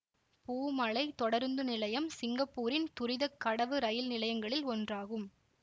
பூ மலை தொடருந்து நிலையம் சிங்கப்பூரின் துரித கடவு ரயில் நிலையங்களில் ஒன்றாகும்